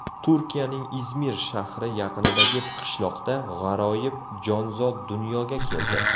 Turkiyaning Izmir shahri yaqinidagi qishloqda g‘aroyib jonzot dunyoga keldi.